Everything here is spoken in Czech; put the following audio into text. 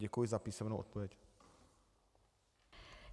Děkuji za písemnou odpověď.